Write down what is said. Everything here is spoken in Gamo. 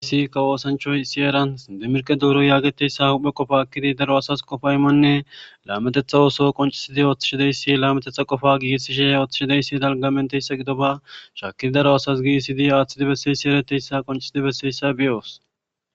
Gissi ka woosanchoy isi eran dimirke duuru yaageteyssa huphe qofa ekkidi daro asas qofaymanne laametetha ooso qoncisidi ooththishideyssi laametetha qofa giisishe ooththishideyssi dalgamenteyssa gido ba shaakidi daro asas gi isidi aaththidi besseyssi ereteyssa qoncisidi besseyssa biyoos